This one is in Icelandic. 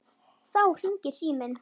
Þá hringir síminn.